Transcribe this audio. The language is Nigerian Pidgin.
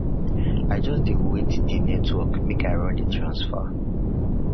i just dey wait di network make i run di transfer